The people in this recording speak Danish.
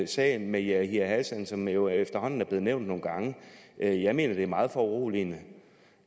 sagen med yahya hassan som jo efterhånden er blevet nævnt nogle gange jeg jeg mener det er meget foruroligende